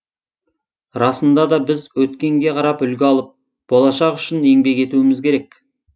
расында да біз өткенге қарап үлгі алып болашақ үшін еңбек етуіміз керек